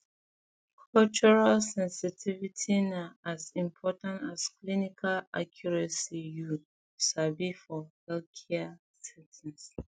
um cultural sensitivity na as important as clinical accuracy you um sabi for healthcare settings